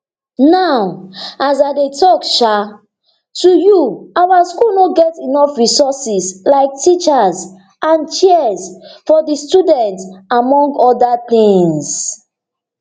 now as i day tok um to you our schools no get enough resources like teachers and chairs for di students among oda tins